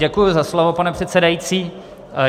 Děkuji za slovo, pane předsedající.